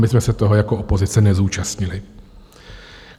My jsme se toho jako opozice nezúčastnili.